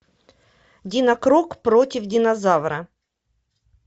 динокрок против динозавра